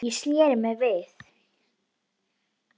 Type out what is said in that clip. Ég sneri mér við.